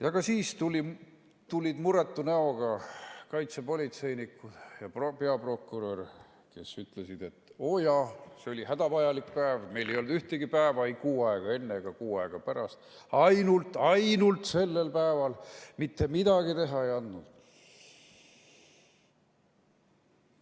Ja ka siis tulid muretu näoga kaitsepolitseinikud ja peaprokurör, kes ütlesid, et oo jaa, see oli hädavajalik päev, meil ei olnud ühtegi päeva, ei kuu aega enne ega kuu aega pärast, ainult-ainult sellel päeval, mitte midagi teha ei andnud.